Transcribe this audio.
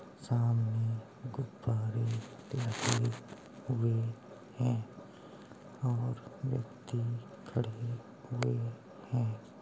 सामने गुब्बारे लगे हुए हैं और व्यक्ति खड़े हुए हैं।